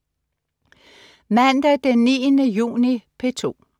Mandag den 9. juni - P2: